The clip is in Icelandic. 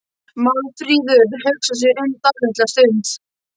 Málfríður hugsar sig um dálitla stund.